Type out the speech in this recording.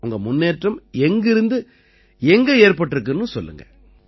உங்க முன்னேற்றம் எங்கிருந்து எங்க ஏற்பட்டிருக்குன்னு சொல்லுங்க